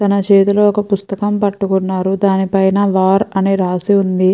తన చేతిలో ఒక పుస్తకం పట్టుకొని ఉన్నారు. దానిపైన వార్ అని రాసివుంది.